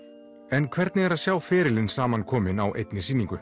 en hvernig er að sjá ferilin samankominn á einni sýningu